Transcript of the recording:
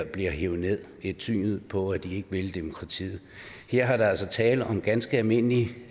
bliver hevet nederst det tyder på at de ikke vil demokratiet her er der altså tale om ganske almindelige